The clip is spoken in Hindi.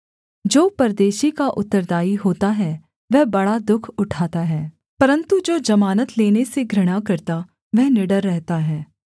जो परदेशी का उत्तरदायी होता है वह बड़ा दुःख उठाता है परन्तु जो जमानत लेने से घृणा करता वह निडर रहता है